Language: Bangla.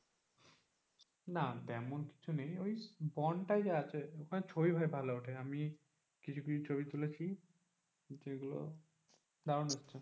না তেমন কিছু নেই ওই বন টাই যা আছে ওখানে ছবি ভাই ভালো উঠে আমি কিছু কিছু ছবি তুলেছি যেগুলো দারুন এসেছে।